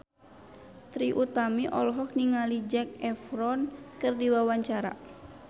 Trie Utami olohok ningali Zac Efron keur diwawancara